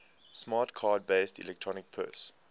smart card based electronic purse